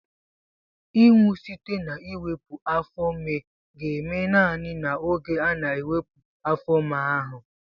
Ịnwụ site na iwepu afo-ime ga-eme naanị n'oge ana-ewepu afo-ime ahu.